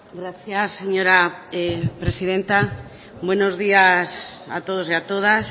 gracias señora presidenta buenos días a todos y a todas